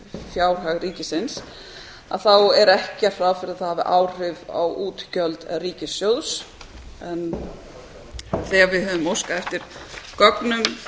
fjárhag ríkisins er ekki gert ráð fyrir að það hafi áhrif á útgjöld ríkissjóðs en þegar við höfum óskað eftir gögnum frá tryggingafélögum hvaða